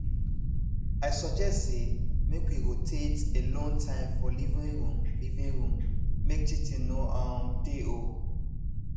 i suggest say make we rotate alone time for living room living room make cheating no um dey um